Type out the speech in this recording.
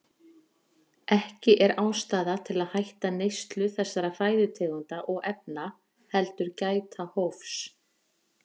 Ekki er ástæða til að hætta neyslu þessara fæðutegunda og efna heldur gæta hófs.